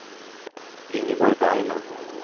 Ingeborg Bergman